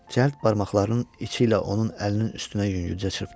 Cəld barmaqlarının içi ilə onun əlinin üstünə yüngülcə çırptı.